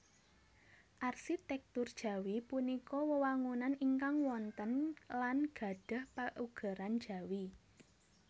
Arsitèktur Jawi punika wewangunan ingkang wonten lan gadhah paugeran jawi